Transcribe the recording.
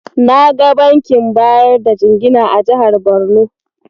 Na ga bankin bayar da jingina a jihar Borno.